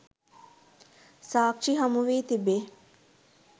සාක්ෂි හමුවී තිබේ